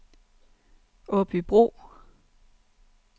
Aabybro